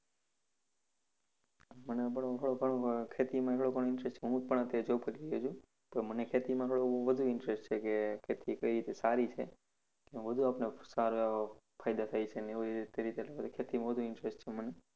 મને પણ થોડો ઘણો ખેતીમાં interest છે. હું પણ અત્યારે job કરી રહ્યો છું. પણ મને ખેતીમાં થોડું વધુ interest કે ખેતી કેવી રીતે સારી છે? વધુ આપણો સારો એવો ફાયદો થાય છે અને એવી રીતે ખેતીમાં મને વધુ interest છે મને.